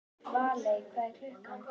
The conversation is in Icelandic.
Valey, hvað er klukkan?